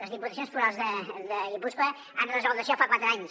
les diputacions forals de guipúscoa han resolt això fa quatre anys